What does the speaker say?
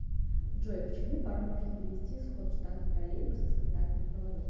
джой к чему порой может привести сход штанг троллейбуса с контактных проводов